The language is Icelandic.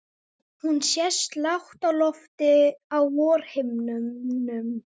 Hún sést lágt á lofti á vorhimninum.